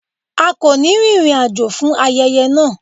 A kò ní rin ìrìn àjò fún ayẹyẹ náà.